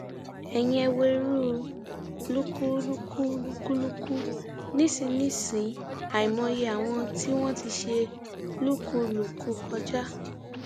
ẹyin ẹ wo irú lúkúlùkù lúkúlùkù nísìnyìí àìmọye àwọn tí wọn ti ṣe lúkúlùkù kọjá